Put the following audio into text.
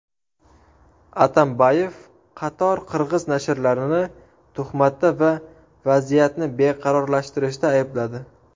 Atambayev qator qirg‘iz nashrlarini tuhmatda va vaziyatni beqarorlashtirishda aybladi.